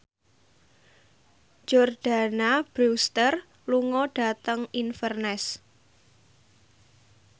Jordana Brewster lunga dhateng Inverness